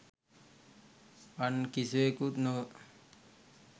අන් කිසිවෙකුත් නොව